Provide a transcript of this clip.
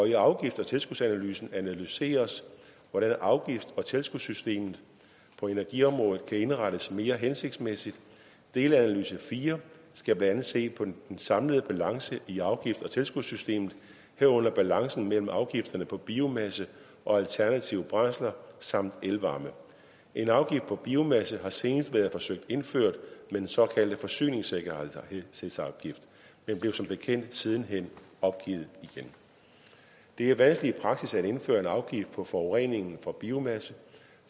i afgift og tilskudsanalysen analyseres hvordan afgifts og tilskudssystemet på energiområdet kan indrettes mere hensigtsmæssigt delanalyse fire skal blandt andet se på den samlede balance i afgifts og tilskudssystemet herunder balancen mellem afgifterne på biomasse og alternative brændsler samt elvarme en afgift på biomasse har senest været forsøgt indført med den såkaldte forsyningssikkerhedsafgift men blev som bekendt siden hen opgivet igen det er vanskeligt i praksis at indføre en afgift på forureningen fra biomasse